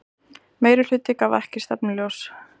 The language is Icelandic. Meirihluti gaf ekki stefnuljós